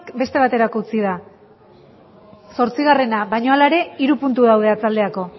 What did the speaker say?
beste baterako utzi da zortzigarrena baina hala ere hiru puntu daude arratsalderako